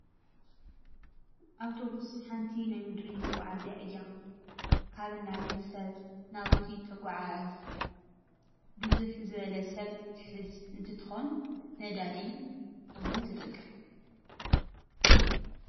ኣውቶቡስ ሓንቲ ናይ ምድሪ መጓዓዝያ እያ። ካብን ናብን ሰብ ናብ እቲ ተጓዓዕዝ። ብዝሕ ዝበለ ሰብ ትሕዝ እንትኮን ነዳዲ እውን ትጥቀም።